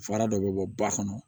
Fara dɔ bɛ bɔ ba kɔnɔ